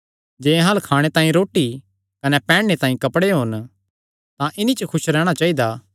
जे अहां अल्ल खाणे तांई रोटी कने पैहनणे तांई कपड़े होन तां इन्हीं पर खुस रैहणा चाइदा